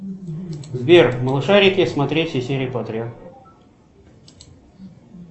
сбер малышарики смотреть все серии подряд